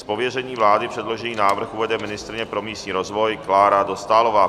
Z pověření vlády předložený návrh uvede ministryně pro místní rozvoj Klára Dostálová.